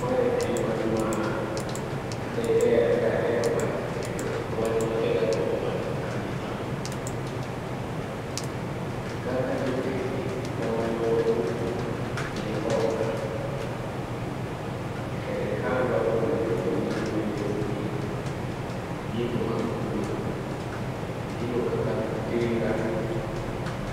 Mae en wach ma diher, daher wacho, kendo en wach ma asegagombo wacho kabisa. Kaka jobengi konyo jopur gi hola, serikandwa be onego bed ni miyo jopur gigo mag pur. Gigo kaka tinga,